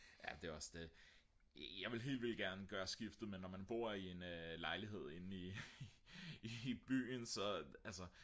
jamen det er også det jeg ville helt vildt gerne gøre skiftet men når man bor i en lejlighed inde i byen så altså